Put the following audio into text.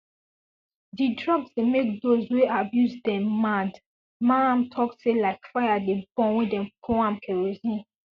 d drugs dey make those wey abuse dem mad maham tok tok like fire dey burn wen dem pour am kerosene